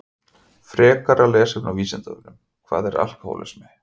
Frekara lesefni á Vísindavefnum Hvað er alkóhólismi?